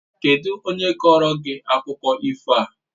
Kedụ onye kọọrọ gị akụkọ ifo a?